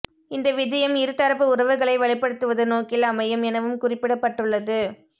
இந்த விஜயம் இரு தரப்பு உறவுகளை வலுப்படுத்துவது நோக்கில் அமையும் எனவும் குறிப்பிடப்பட்டுள்ளது